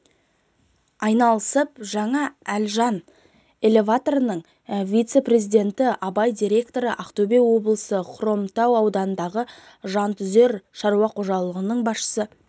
айналысып жаңа әлжан элеваторының вице-президенті абай директоры ақтөбе облысы хромтау ауданындағы жантүзер шаруа қожалығының басшысы